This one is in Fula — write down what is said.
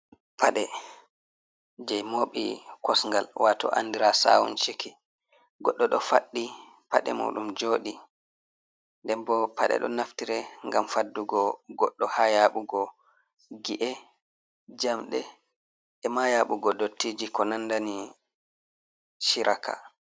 Paaɗe je moɓi kos ngal andiraɗum saw ciki. Goɗɗo ɗo faɗɗi paɗe muɗum joɗi. Nden bo paɗe ɗo naftire ngam faddugo goɗɗo ha ya ɓugo gi, e, jamɗe ema yaɓugo dottiji ko nandani chiraka.